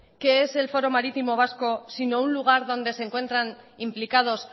qué es el foro marítimo vasco sino un lugar donde se encuentran implicados